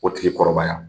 O tigi kɔrɔbaya